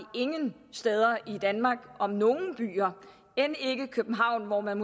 ingen steder i danmark end ikke i københavn hvor man